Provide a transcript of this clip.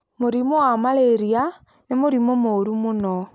Mũrimũ wa malaria nĩ mũrimũ mũũru mũno.